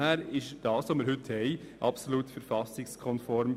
Daher ist der vorliegende Vorschlag absolut verfassungskonform.